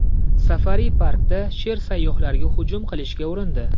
Safari-parkda sher sayyohlarga hujum qilishga urindi.